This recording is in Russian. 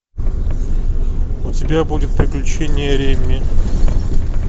у тебя будет приключения реми